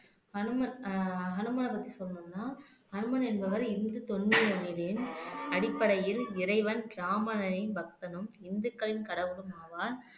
ஹனுமன் ஆஹ் ஹனுமார் பத்தி சொல்லணும்னா ஹனுமன் என்பவர் இந்து நெறியில் அடிப்படையில் இறைவன் ராமணனின் பக்தனும் இந்துக்களின் கடவுளும் ஆவார்